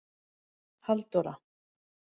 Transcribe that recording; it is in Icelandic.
Halldóra